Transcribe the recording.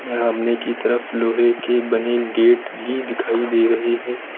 यहाँ आमने तरफ लोहे की बनें गेट भी दिखाई दे रहे हैं।